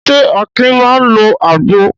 Ṣé Akin máa ń lo àgbo?